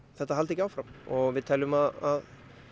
þetta haldi ekki áfram og við teljum að